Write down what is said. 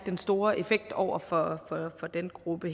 den store effekt over for denne gruppe